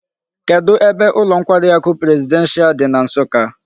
Kedu ebe ulo nkwari aku presidential di na nsukka?